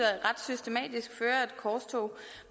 ret systematisk fører et korstog